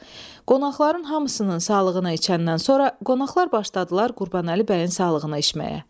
Qonaqların hamısının sağlığına içəndən sonra qonaqlar başladılar Qurbanəli bəyin sağlığına içməyə.